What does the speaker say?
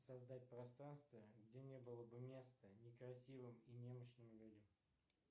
создать пространство где не было бы места некрасивым и немощным людям